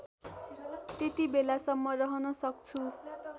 त्यतिबेलासम्म रहन सक्छु